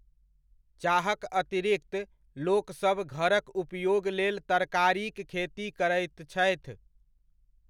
चाहक अतिरिक्त लोकसब घरक उपयोग लेल तरकारीक खेती करैत छथि।